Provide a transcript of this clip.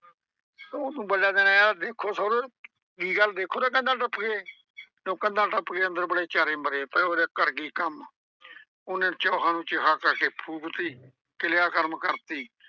ਓਨੇ ਨੂੰ ਇੱਕ ਬੰਦਾ ਆਂਹਦਾ, ਦੇਖੋ ਸੋਹਰਿਆਂ ਨੂੰ, ਕੀ ਗੱਲ ਦੇਖੋ ਤਾਂ ਕੰਧਾਂ ਟੱਪ ਕੇ ਜਦੋਂ ਕੰਧਾਂ ਟੱਪ ਕੇ ਅੰਦਰ ਵੜੇ ਚਾਰੇ ਮਰੇ ਪਏ। ਉਹ ਆਂਹਦੇ ਕਰ ਗਈ ਕੰਮ। ਓਨੇ ਨੂੰ ਚੋਹਾਂ ਨੂੰ ਚੋਹਾਂ ਕਰਕੇ ਫੂਕ ਤੀ ਕ੍ਰਿਆ ਕ੍ਰਮ ਕਰਤੀ।